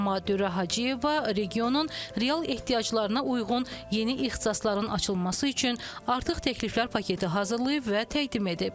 Amma Dürrə Hacıyeva regionun real ehtiyaclarına uyğun yeni ixtisasların açılması üçün artıq təkliflər paketi hazırlayıb və təqdim edib.